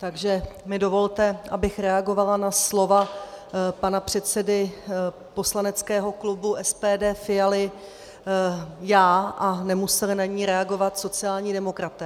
Takže mi dovolte, abych reagovala na slova pana předsedy poslaneckého klubu SPD Fialy já a nemuseli na ni reagovat sociální demokraté.